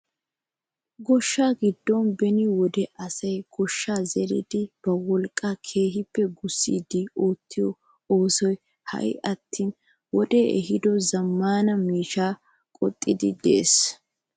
Gooshshaa giddon beni wode asay gaashshiyaa zeridi ba wolqqaa keehippe gussidi oottiyoo oosoy ha'i attin wodee ehiido zammaana maashinee qoxxiidi de'ees!